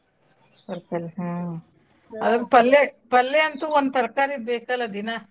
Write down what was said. ತರ್ಕಾರೀ ಹ್ಮ್ ಪಲ್ಲೇ ಪಲ್ಲೇ ಅಂತೂ ಒಂದ್ ತರ್ಕಾರೀ ಬೇಕ್ ಅಲ್ಲಾ ದಿನಾ.